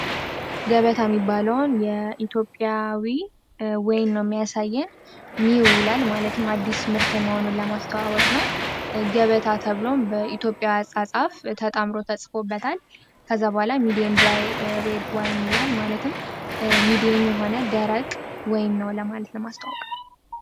ገበታ የሚባለውን የኢትዮጵያ ወይንም የሚያሳየን ኒው የሚል አዲስ ምርጥ መሆኑን ለማስተዋወቅ ነው ገበታ ተብሎም በኢትዮጵያ አፃፃፍ ተጣምሮ ተጽፎበታል ከዛ በኋላም ሚዲያም ድራይ ወይን ማለት ነው ይህም ሚዲያም የሆነ ደረቅ ወይ ነው ለማለት ነው ማስታወቂያው።